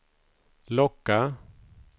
locka